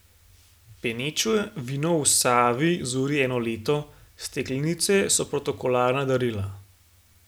Peneče vino v Savi zori eno leto, steklenice so protokolarna darila.